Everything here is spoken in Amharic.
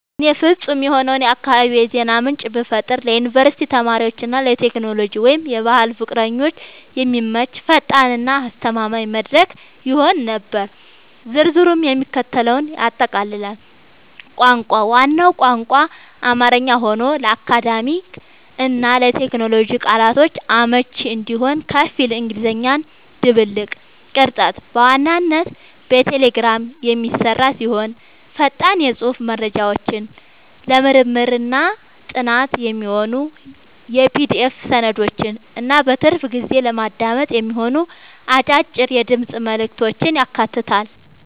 ለእኔ ፍጹም የሆነውን የአካባቢ የዜና ምንጭ ብፈጥር ለዩኒቨርሲቲ ተማሪዎች እና ለቴክኖሎጂ/ባህል ፍቅረኞች የሚመች፣ ፈጣን እና አስተማማኝ መድረክ ይሆን ነበር። ዝርዝሩም የሚከተለውን ያጠቃልላል - ቋንቋ፦ ዋናው ቋንቋ አማርኛ ሆኖ፣ ለአካዳሚክ እና ለቴክኖሎጂ ቃላቶች አመቺ እንዲሆን ከፊል እንግሊዝኛ ድብልቅ። ቅርጸት፦ በዋናነት በቴሌግራም የሚሰራ ሲሆን፣ ፈጣን የጽሑፍ መረጃዎችን፣ ለምርምርና ጥናት የሚሆኑ የPDF ሰነዶችን እና በትርፍ ጊዜ ለማዳመጥ የሚሆኑ አጫጭር የድምፅ መልዕክቶችን ያካትታል።